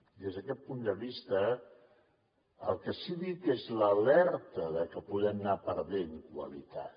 des d’aquest punt de vista el que sí que dic és l’alerta de que podem anar perdent qualitat